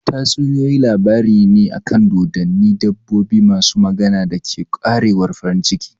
Tatsuniyoyi labaru ne akan dodonni, dabbobi masu magana, da ke ƙarewar farin ciki.